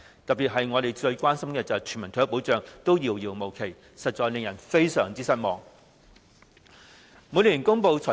特別要指出是，我們最關心的全民退休保障依然遙遙無期，實在令人非常失望。